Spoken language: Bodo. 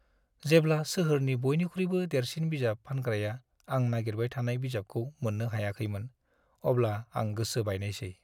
जेब्ला सोहोरनि बयनिख्रुइबो देरसिन बिजाब फानग्राया आं नागिरबाय थानाय बिजाबखौ मोननो हायाखैमोन, अब्ला आं गोसो बायनायसै।